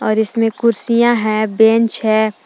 और इसमें कुर्सियां हैं बेंच है।